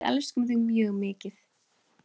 Við elskum þig mjög mikið.